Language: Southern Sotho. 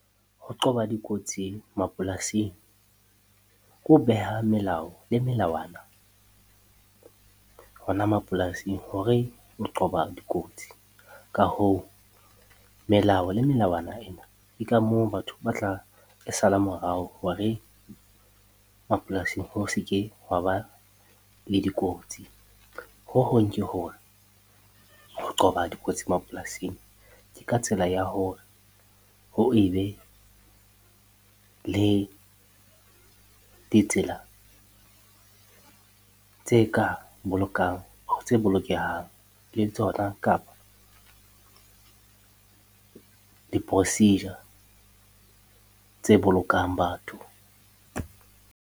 Ho qoba dikotsi mapolasing ke ho beha melao le melawana hona mapolasing hore o qoba dikotsi. Ka hoo, melao le melawana ena ke ka moo batho ba tla e sala morao hore mapolasing ho se ke ha ba le dikotsi. Ho hong ke hore ho qoba dikotsi mapolasing ke ka tsela ya hore ho e be le ditsela tse bolokehang le tsona kapa di-procedure tse bolokang batho.